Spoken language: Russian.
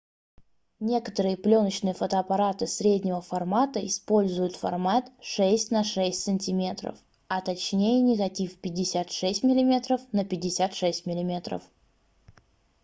некоторые плёночные фотоаппараты среднего формата используют формат 6 на 6 сантиметров а точнее негатив 56мм на 56 мм